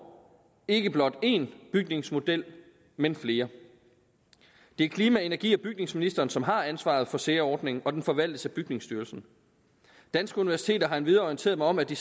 ikke blot én bygningsmodel men flere det er klima energi og bygningsministeren som har ansvaret for sea ordningen og den forvaltes af bygningsstyrelsen danske universiteter har endvidere orienteret mig om at de